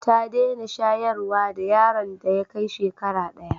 Ta dena shayarwa da yaron ta ya Kai shekara daya